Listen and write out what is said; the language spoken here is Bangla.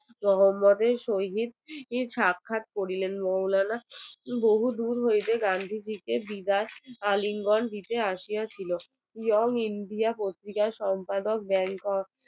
মোহাম্মদের সহিত সাক্ষাৎ করিলেন মৌলানা বহু দূর হইতে গান্ধীজি কে বিদায় আলিঙ্গন দিতে আসিয়া ছিল এবং ইন্দ্রিয়া পত্রিকার সম্পাদক